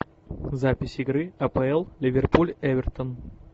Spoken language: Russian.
запись игры апл ливерпуль эвертон